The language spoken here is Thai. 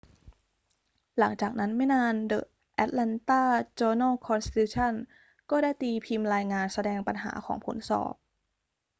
หลังจากนั้นไม่นาน the atlanta journal-constitution ก็ได้ตีพิมพ์รายงานแสดงปัญหาของผลสอบ